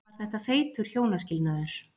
Var þetta feitur hjónaskilnaður?